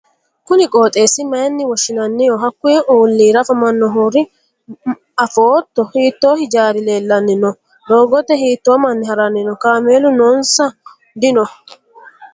kuni qooxeessi mayyiine woshhsi'nanniho? hiikkuy ollira afamannohoro afootto? hiitto hijaari leellanni no? doogote hiitto manni ha'ranni no? kaameelu noonso dino?